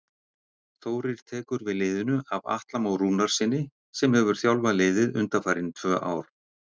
Þórir tekur við liðinu af Atla Má Rúnarssyni sem hefur þjálfað liðið undanfarin tvö ár.